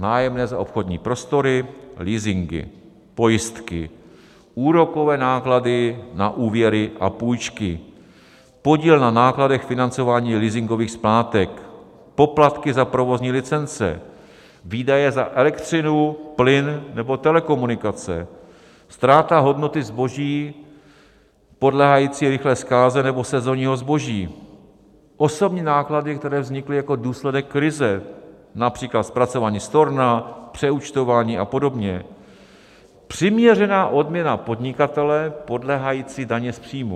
Nájemné za obchodní prostory, leasingy, pojistky, úrokové náklady na úvěry a půjčky, podíl na nákladech financování leasingových splátek, poplatky za provozní licence, výdaje za elektřinu, plyn nebo telekomunikace, ztráta hodnoty zboží podléhající rychlé zkáze nebo sezonního zboží, osobní náklady, které vznikly jako důsledek krize, například zpracování storna, přeúčtování a podobně, přiměřená odměna podnikatele podléhající dani z příjmu.